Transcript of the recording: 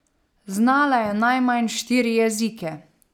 Znala je najmanj štiri jezike.